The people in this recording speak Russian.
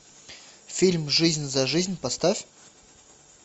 фильм жизнь за жизнь поставь